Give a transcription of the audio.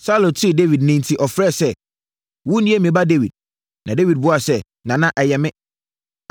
Saulo tee Dawid nne enti ɔfrɛɛ sɛ, “Wo nie me ba Dawid?” Na Dawid buaa no sɛ, “Nana, ɛyɛ me.